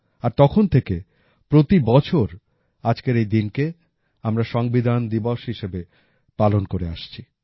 আর তখন থেকে প্রতি বছর আজকের এই দিনকে আমরা সংবিধান দিবস হিসাবে পালন করে আসছি